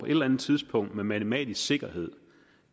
eller andet tidspunkt med matematisk sikkerhed